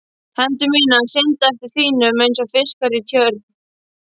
Hendur mínar synda eftir þínum einsog fiskar í tjörn.